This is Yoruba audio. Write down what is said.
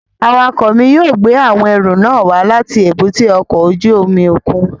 Awakọ mi yóò gbe awọn ẹru nàa wa lati èbúté ọkọ ojú omi okun